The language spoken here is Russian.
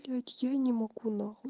вот я не могу на хуй